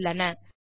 தொடர்ந்து கவனியுங்கள்